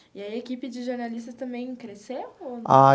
E aí a equipe de jornalistas também cresceu, ou? Ah.